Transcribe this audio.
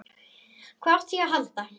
Hvað átti ég að halda?